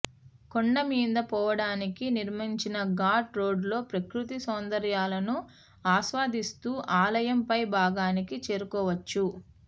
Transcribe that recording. కొండ మీద పోవడానికి నిర్మించిన ఘాట్ రోడ్డు లో ప్రకృతి సౌందర్యాలను ఆస్వాదిస్తూ ఆలయం పై భాగానికి చేరుకోవచ్చు